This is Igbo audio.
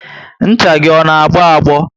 Ncha gị ọ na agbo agbo?